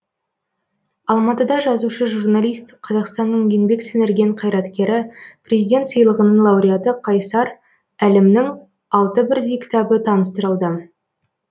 алматыда жазушы журналист қазақстанның еңбек сіңірген қайраткері президент сыйлығының лауреаты қайсар әлімнің алты бірдей кітабы таныстырылды